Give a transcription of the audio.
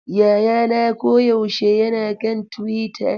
Yayana koyaushe yana kan Twitter.